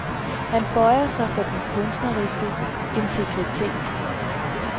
Han bøjede sig for den kunstneriske integritet.